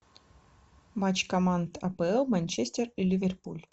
матч команд апл манчестер и ливерпуль